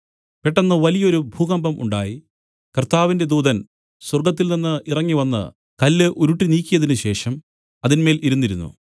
പെട്ടെന്ന് വലിയൊരു ഭൂകമ്പം ഉണ്ടായി കർത്താവിന്റെ ദൂതൻ സ്വർഗ്ഗത്തിൽനിന്നു ഇറങ്ങിവന്ന് കല്ല് ഉരുട്ടിനീക്കിയതിനുശേഷം അതിന്മേൽ ഇരുന്നിരുന്നു